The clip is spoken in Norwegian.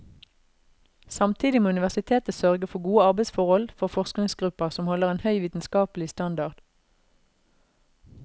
Samtidig må universitetet sørge for gode arbeidsforhold for forskningsgrupper som holder en høy vitenskapelige standard.